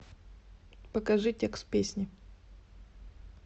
покажи текст песни